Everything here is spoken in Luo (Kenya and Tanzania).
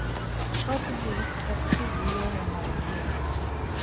Thothgi ok ti gi yore mag thieth.